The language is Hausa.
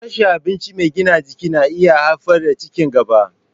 Rashin abinci mai gina jiki na iya haifar da ci gaba.